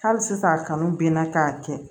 Hali sisan a kanu ben na k'a kɛ